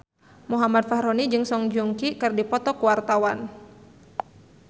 Muhammad Fachroni jeung Song Joong Ki keur dipoto ku wartawan